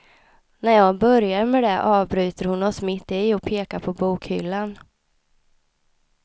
När jag börjar med det, avbryter hon oss mitt i och pekar på bokhyllan.